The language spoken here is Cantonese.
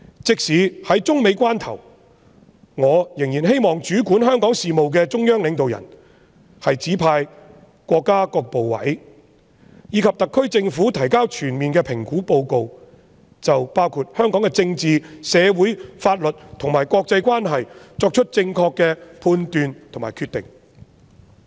即使中美關係正處於關鍵時刻，我仍然希望主管香港事務的中央領導人，指示國家各部委及特區政府提交全面的評估報告，就香港的政治、社會、法律和國際關係等範疇作出正確的判斷和決定。